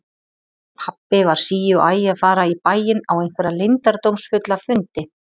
Pabbi var sí og æ að fara í bæinn á einhverja leyndardómsfulla fundi.